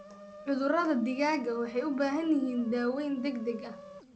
Cudurada digaaga waxay u baahan yihiin daaweyn degdeg ah.